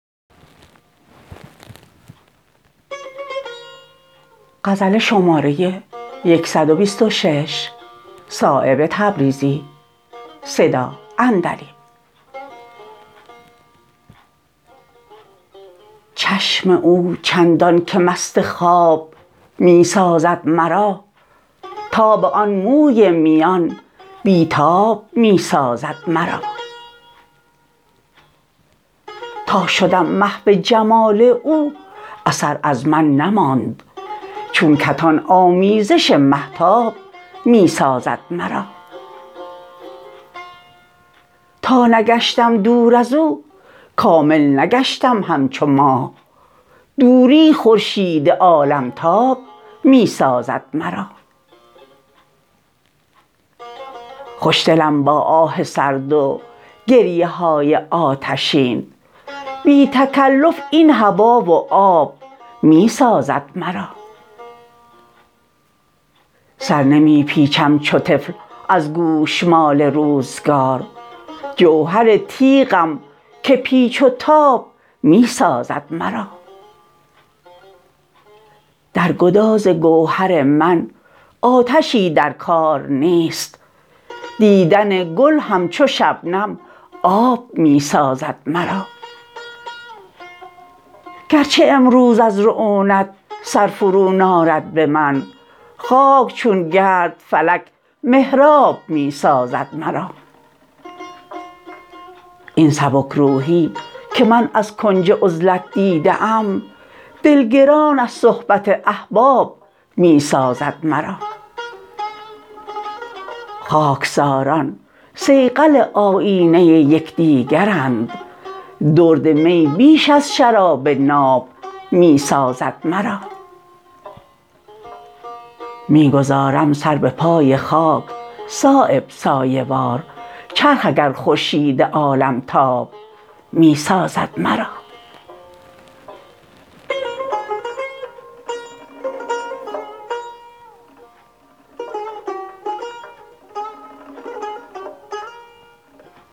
چشم او چندان که مست خواب می سازد مرا تاب آن موی میان بی تاب می سازد مرا تا شدم محو جمال او اثر از من نماند چون کتان آمیزش مهتاب می سازد مرا تا نگشتم دور ازو کامل نگشتم همچو ماه دوری خورشید عالم تاب می سازد مرا خوشدلم با آه سرد و گریه های آتشین بی تکلف این هوا و آب می سازد مرا سر نمی پیچم چو طفل از گوشمال روزگار جوهر تیغم که پیچ و تاب می سازد مرا در گداز گوهر من آتشی در کار نیست دیدن گل همچو شبنم آب می سازد مرا گرچه امروز از رعونت سر فرو نارد به من خاک چون گرد فلک محراب می سازد مرا این سبک روحی که من از کنج عزلت دیده ام دل گران از صحبت احباب می سازد مرا خاکساران صیقل آیینه یکدیگرند درد می بیش از شراب ناب می سازد مرا می گذارم سر به پای خاک صایب سایه وار چرخ اگر خورشید عالم تاب می سازد مرا